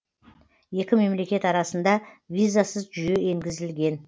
екі мемлекет арасында визасыз жүйе енгізілген